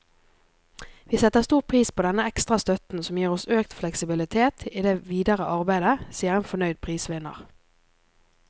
Vi setter stor pris på denne ekstra støtten, som gir oss økt fleksibilitet i det videre arbeidet, sier en fornøyd prisvinner.